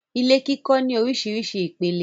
Ilé kíkọ́ ní orísirísi ìpele.